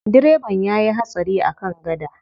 Direban ya yi hatsari a kan gada.